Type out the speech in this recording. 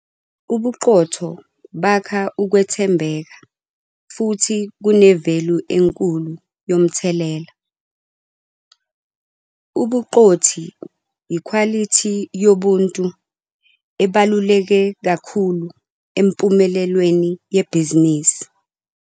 Ubuqotho bakha ukwethembeka futhi kune-value enkulu yomthelela. Ubuqothi yikhwalithi yobuntu ezibaluleke kakhulu empumelelweni yebhizinisisi.